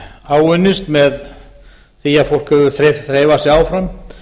áunnist með því að fólk hefur þreifað sig áfram